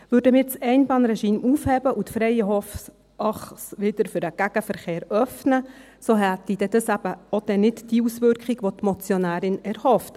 Würden wir das Einbahnregime aufheben und die Freienhof-Achse wieder für den Gegenverkehr öffnen, so hätte das dann eben nicht die Auswirkung, die sich die Motionärin erhofft: